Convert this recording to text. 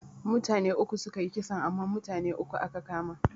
Mutane uku sukayi kisan amma mutane biyu aka kama.